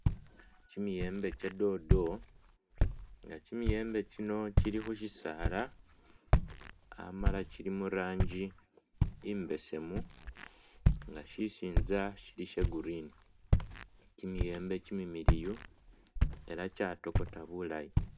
Kyimiyembe kye dodo ,nga kyimiyembe kyino kyili khu'shisaala amala kyili muranji imbesemu nga shisinza shili sha'green ,kimiyembe kyimimiliyu ela kyatokota bulayi